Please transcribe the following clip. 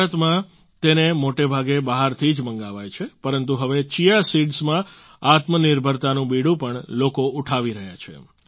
ભારતમાં તેને મોટાભાગે બહારથી જ મંગાવાય છે પરંતુ હવે ચીયા સિડ્સમાં આત્મનિર્ભરતાનું બીડું પણ લોકો ઉઠાવી રહ્યા છે